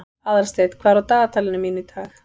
Aðalsteinn, hvað er á dagatalinu mínu í dag?